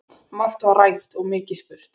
Margt var rætt og mikið spurt.